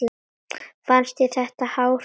Fannst þér þetta hár dómur?